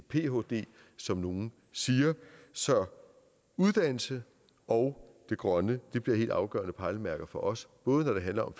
phd som nogle siger så uddannelse og det grønne bliver helt afgørende pejlemærker for os både når det handler